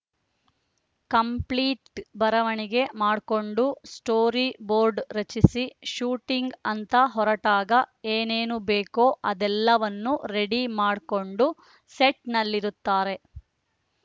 complete ಬರವಣಿಗೆ ಮಾಡ್ಕೊಂಡು storyboard ರಚಿಸಿ ಶೂಟಿಂಗ್‌ ಅಂತ ಹೊರಟಾಗ ಏನೇನು ಬೇಕೋ ಅದೆಲ್ಲವನ್ನು ರೆಡಿ ಮಾಡ್ಕೊಂಡು ಸೆಟ್‌ನಲ್ಲಿರುತ್ತಾರೆ